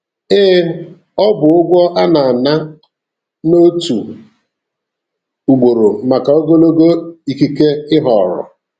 Ee, ọ bụ ụgwọ a na-ana otu ugboro maka ogologo ikike ị họọrọ.